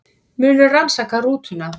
Munu rannsaka rútuna